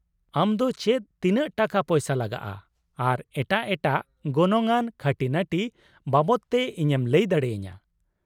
-ᱟᱢ ᱫᱚ ᱪᱮᱫ ᱛᱤᱱᱟᱹᱜ ᱴᱟᱠᱟᱯᱚᱭᱥᱟ ᱞᱟᱜᱟᱜᱼᱟ ᱟᱨ ᱮᱴᱟᱜ ᱮᱴᱟᱜ ᱜᱚᱱᱚᱝ ᱟᱱ ᱠᱷᱟᱹᱴᱤᱱᱟᱹᱴᱤ ᱵᱟᱵᱚᱫ ᱛᱮ ᱤᱧᱮᱢ ᱞᱟᱹᱭ ᱫᱟᱲᱮᱭᱟᱹᱧᱟᱹ ?